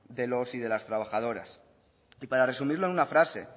de los y las trabajadoras para resumirlo en una frase